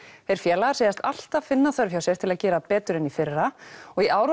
þeir félagar segjast alltaf finna þörf hjá sér til að gera betur en í fyrra og í ár